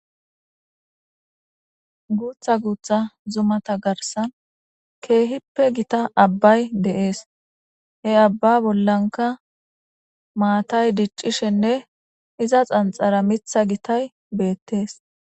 Guutha guutha zumata garsan keehippe gita abbay de7ees he abba bollanka maatay diccishenne iza xanxara mitha gitay beettees.